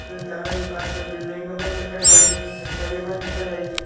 અને ઝાડવા ની પાછળ બિલ્ડીંગો પણ દેખાય રહી છે ફેકટરીઓ પણ દેખાય રહી છે.